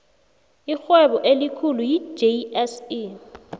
irhwebo elikhulu yi jse